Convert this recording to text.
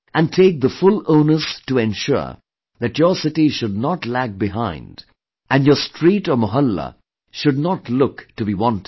And take the full onus to ensure that your city should not lag behind and your street or mohalla should not look to be wanting